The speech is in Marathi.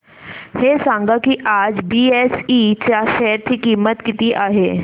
हे सांगा की आज बीएसई च्या शेअर ची किंमत किती आहे